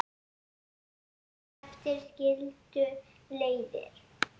Daginn eftir skildu leiðir.